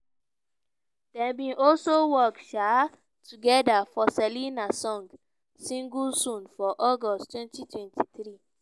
dem bin also work um togeda for selena song "single soon" for august 2023.